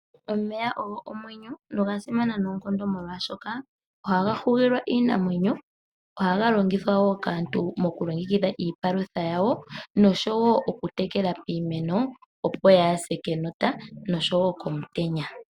Omeya ogo omwenyo nogasimana noonkondo molwaashoka ohaga hugilwa iinamwenyo, ohaga longithwa kaantu mokulongekidha iipalutha yawo , okutekela iimeno opo yaase kenota no komutenya nayilwe oyindji.